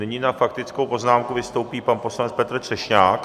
Nyní na faktickou poznámku vystoupí pan poslanec Petr Třešňák.